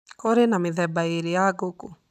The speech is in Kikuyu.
Kũrĩ na mĩthemba ĩĩrĩ ya ngũkũ.